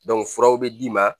furaw bɛ d'i ma